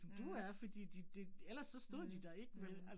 Mh. Mh mh